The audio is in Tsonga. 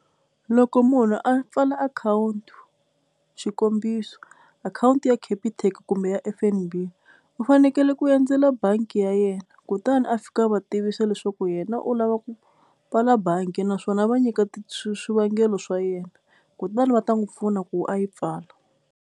Loko munhu a pfala akhawunti xikombiso akhawunti ya Capitec kumbe ya F_N_B u fanekele ku endzela bangi ya yena kutani a fika a va tivisa leswaku yena u lava ku pfala bangi naswona a va nyika swivangelo swa yena kutani va ta n'wi pfuna ku a yi pfala.